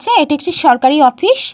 ছে। এটি একটি সরকারি অফিস ।